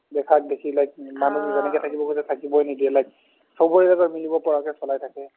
দেখাক দেখি like যেনেকে ঠাকিব খুজে ঠাকিবৈ নিদিয়ে like ছবৰে লগত মিলিব পাৰাকে চলাই থাকে